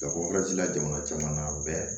la jamana caman na bɛɛ